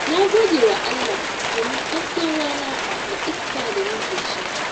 Na gode wa Allah domin hasken rana da iska da nake sha.